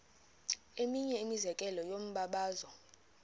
eminye imizekelo yombabazo